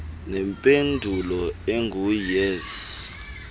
nempendulo engu yes